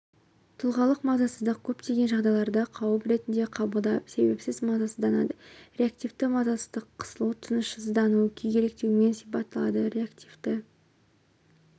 тұлғалық мазасыздық көптеген жағдайларда қауіп ретінде қабылдап себепсіз мазасызданады реактивті мазасыздық қысылу тынышсыздану күйгелектеумен сипатталады реактивті